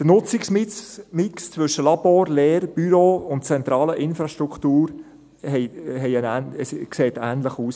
Der Nutzungsmix zwischen Labors, Lehre, Büros und zentraler Infrastruktur sieht bei diesen Gebäuden ähnlich aus.